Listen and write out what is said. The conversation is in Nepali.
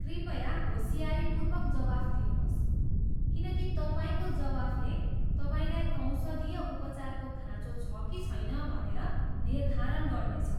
कृपया होसियारीपूर्वक जवाफ दिनुहोस्, किनकि तपाईँको जवाफले तपाईँलाई औषधीय उपचारको खाँचो छ कि छैन भनेर निर्धारण गर्नेछ।